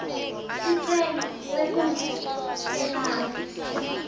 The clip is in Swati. sicelo sebuve bemave